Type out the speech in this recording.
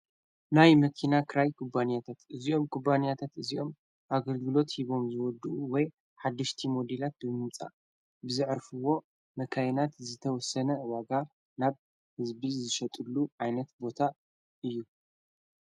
ናይ መኪና ክራይ ቁባንያተት እዝኦም ቁባንያተት እዚኦም ኣገልግሎት ሂቦም ዝወዱ ወይ ሓድሽቲ ሞዲላት ብምምጻእ ብዝዕርፍዎ መካይናት ዝተወሰነ ዋጋ ናብ ሕዝቢ ዝሸጥሉ ዓይነት ቦታ እዩ።